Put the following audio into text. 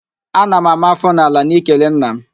Ana m àmá áfọ́ n'ala n'ikele nna m